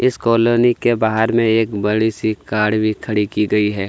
इस कोलोनी के बाहर में एक बड़ी सी कार भी खड़ी की गई है।